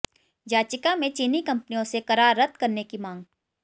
याचिका में चीनी कंपनियों से करार रद्द करने की मांग